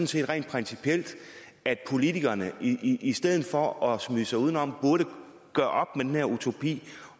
set rent principielt at politikerne i i stedet for at smyge sig udenom burde gøre op med den her utopi